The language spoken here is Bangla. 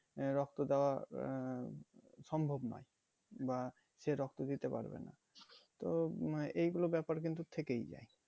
আহ রক্ত দেওয়া আহ সম্ভব নয় বা সে রক্ত দিতে পারবে না তো উম আহ এইগুলো ব্যাপার কিন্তু থেকেই যায়